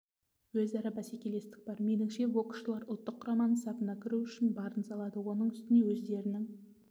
өзара бәсекелестік бар меніңше боксшылар ұлттық құраманың сапына кіру үшін барын салады оның үстіне өздерінің